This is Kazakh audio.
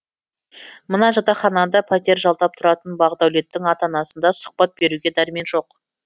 мына жатақханада пәтер жалдап тұратын бақдәулеттің ата анасында сұхбат беруге дәрмен жоқ